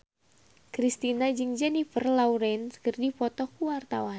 Kristina jeung Jennifer Lawrence keur dipoto ku wartawan